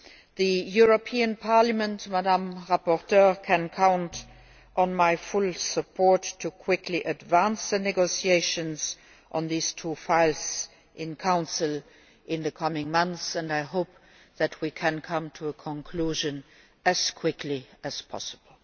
The European Parliament, Madam rapporteur, can count on my full support to advance quickly the negotiations on these two files in Council in the coming months, and I hope that we can come to a conclusion as quickly as possible.